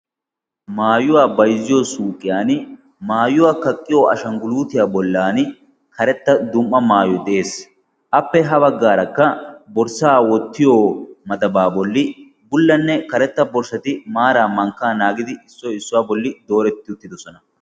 maayuwaa bayzziyo suuqiyan maayuwaa kaqqiyo ashangguluutiyaa bollan karetta dum''a maayo de'ees appe ha baggaarakka borssaa wottiyo matabaa bolli bullanne karetta borshshati maara mankkaa naagidi issoy issuwaa bolli dooretti uttidosona